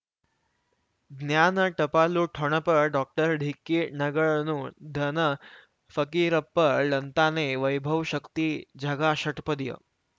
ಜ್ಞಾನ ಟಪಾಲು ಠೊಣಪ ಡಾಕ್ಟರ್ ಢಿಕ್ಕಿ ಣಗಳನು ಧನ ಫಕೀರಪ್ಪ ಳಂತಾನೆ ವೈಭವ್ ಶಕ್ತಿ ಝಗಾ ಷಟ್ಪದಿಯ